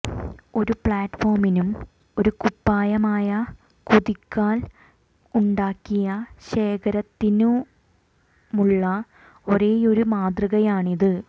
ഒരു പ്ലാറ്റ്ഫോമിനും ഒരു കുപ്പായമായ കുതികാൽ ഉണ്ടാക്കിയ ശേഖരത്തിനുമുള്ള ഒരേയൊരു മാതൃകയാണിത്